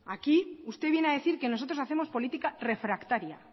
aquí usted viene a decir que nosotros hacemos política refractaria